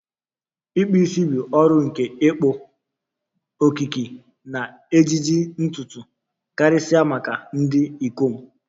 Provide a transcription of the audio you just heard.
ikpụ isi bụ ọrụ nke ịkpụ, okike, na ejiji ntutu, karịsịa maka ndị ikom.